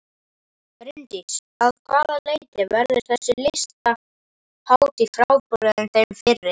Bryndís: Að hvaða leyti verður þessi listahátíð frábrugðin þeim fyrri?